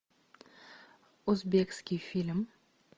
узбекский фильм